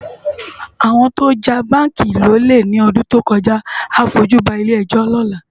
Awòn tiwòn já bánki lólé lòlé lòdún tókòjá á fójú bá ilé èjò lòlá